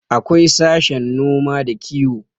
akwai sashen noma da kiwo